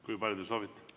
Kui palju te soovite?